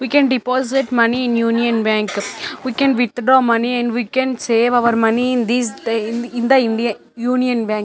We can deposit money in Union bank we can withdraw money and we can save our money in these in the Indian Union bank.